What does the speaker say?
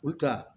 U ka